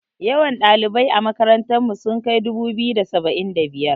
Yawan ɗalibai a makarantar mu sun kai dubu-biyu da saba'in da biyar.